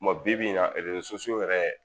Mɛ bi bi in na erezo sosiyow yɛrɛ